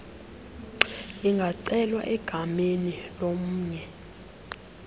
ingacelwa egameni lomnye